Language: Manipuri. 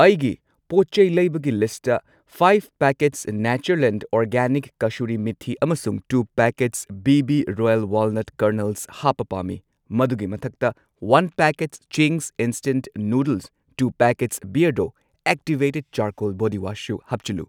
ꯑꯩꯒꯤ ꯄꯣꯠꯆꯩ ꯂꯩꯕꯒꯤ ꯂꯤꯁꯠꯇ ꯐꯥꯢꯚ ꯃꯉꯥ ꯄꯦꯀꯦꯠꯁ ꯅꯦꯆꯔꯂꯦꯟꯗ ꯑꯣꯔꯒꯥꯅꯤꯛ ꯀꯁꯨꯔꯤ ꯃꯤꯊꯤ ꯑꯃꯁꯨꯡ two packets B B royal walnut kernels ꯍꯥꯞꯄ ꯄꯥꯝꯃꯤ, ꯃꯗꯨꯒꯤ ꯃꯊꯛꯇ one packet Ching's instant noodles, two packets Beardo activated charcoal body wash ꯁꯨ ꯍꯥꯞꯆꯤꯜꯂꯨ꯫